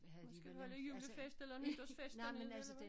Måske holde julefest eller nytårsfest dernede eller hvad